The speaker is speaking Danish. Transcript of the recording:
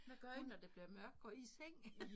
Hvad gør I når det bliver mørkt går I i seng?